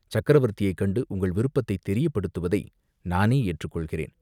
சக்கரவர்த்தியைக் கண்டு உங்கள் விருப்பத்தைத் தெரியப்படுத்துவதை நானே ஏற்றுக் கொள்கிறேன்.